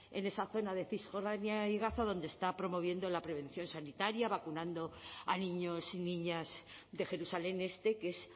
en esa zona de cisjordania y gaza donde está promoviendo la prevención sanitaria vacunando a niños y niñas de jerusalén este que es